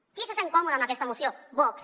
qui se sent còmode amb aquesta moció vox